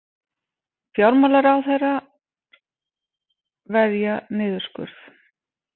Fjármálaráðherrar verja niðurskurð